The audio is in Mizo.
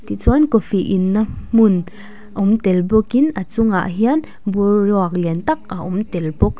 tichuan coffee inna hmun awm tel bawkin a chungah hian bur ruak lian tak a awm tel bawk.